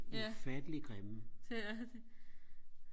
ja det er de